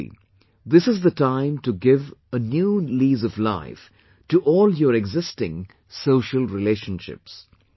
Actually, this is the time to give a new lease of life to all your existing social relationships